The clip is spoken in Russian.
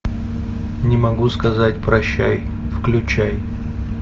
не могу сказать прощай включай